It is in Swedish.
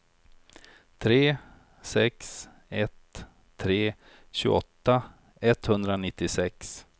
tre sex ett tre tjugoåtta etthundranittiosex